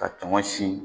Ka tɔŋɔni